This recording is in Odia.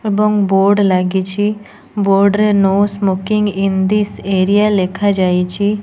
ଏବଂ ବୋର୍ଡ଼ ଲାଗିଚି ବୋର୍ଡ଼ ରେ no smoking in this area ଲେଖା ଯାଇଚି ।